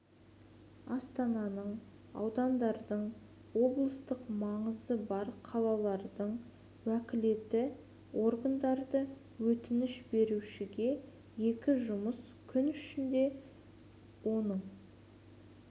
астананың аудандардың облыстық маңызы бар қалалардың уәкілетті органдары өтініш берушіге екі жұмыс күні ішінде оның